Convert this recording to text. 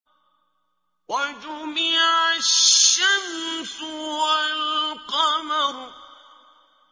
وَجُمِعَ الشَّمْسُ وَالْقَمَرُ